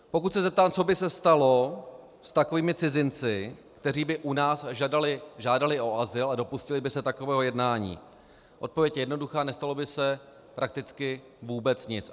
Pokud se zeptám, co by se stalo s takovými cizinci, kteří by u nás žádali o azyl a dopustili by se takového jednání, odpověď je jednoduchá - nestalo by se prakticky vůbec nic.